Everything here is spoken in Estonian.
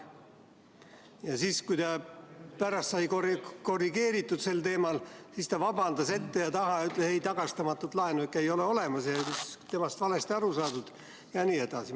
Ja siis, kui ta pärast sai korrigeeritud sel teemal, siis ta vabandas ette ja taha, ütles, et tagastamatut laenu ikka ei ole olemas ja temast on valesti aru saadud jne.